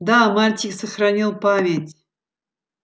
да мальчик сохранил память